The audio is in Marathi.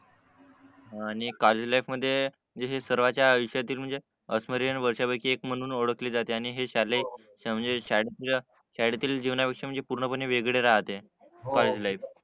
आणि कालेज लाईफमध्ये जसे सर्वांचा आयुष्यातील म्हणजे अविस्मरणीय वर्षांपैकी एक म्हणून ओळखली जाते आणि हे शाले म्हणजे शाळेतील जीवनाविषयी म्हणजे पूर्णपणे वेगळी राहते कॉलेज लाईफ